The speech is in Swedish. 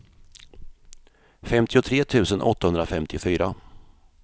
femtiotre tusen åttahundrafemtiofyra